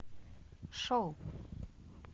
шоу